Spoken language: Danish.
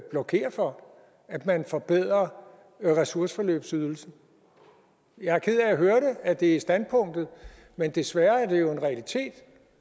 blokere for at man forbedrer ressourceforløbsydelsen jeg er ked af at høre at det er standpunktet men desværre er det jo en realitet